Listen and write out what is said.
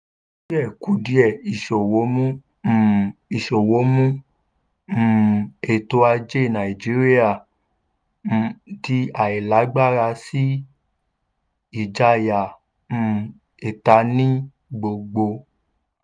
kùdìẹ̀kudiẹ ìsòwò mú um ìsòwò mú um ètò ajé nàìjíríà um di àìlágbára sí ìjayà um ìta ní gbogbo.